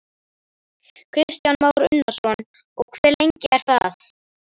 Kristján Már Unnarsson: Og hve lengi er það?